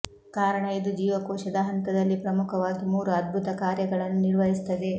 ಕಾರಣ ಇದು ಜೀವಕೋಶದ ಹಂತದಲ್ಲಿ ಪ್ರಮುಖವಾಗಿ ಮೂರು ಅದ್ಭುತ ಕಾರ್ಯಗಳನ್ನು ನಿರ್ವಹಿಸುತ್ತದೆ